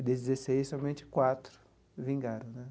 Desses dezesseis, somente quatro vingaram, né?